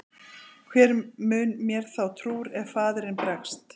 Hver mun mér þá trúr ef faðirinn bregst?